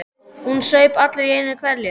Hún saup allt í einu hveljur.